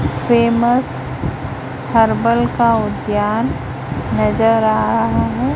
Famous herbal का उद्यान नजर आ रहा है।